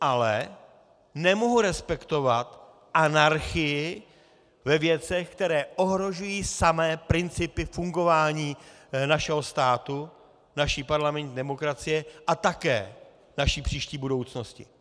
Ale nemohu respektovat anarchii ve věcech, které ohrožují samé principy fungování našeho státu, naší parlamentní demokracie a také naší příští budoucnosti.